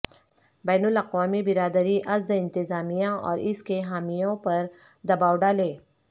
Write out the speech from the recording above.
بین الاقوامی برادری اسد انتظامیہ اور اس کے حامیوں پر دباو ڈالے